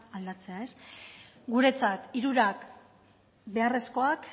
aldatzea guretzat hirurak beharrezkoak